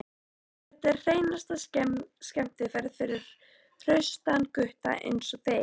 Þetta er hreinasta skemmtiferð fyrir hraustan gutta einsog þig.